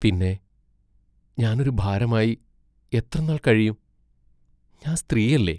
പിന്നെ ഞാൻ ഒരു ഭാരമായി എത്രനാൾ കഴിയും; ഞാൻ സ്ത്രീയല്ലേ?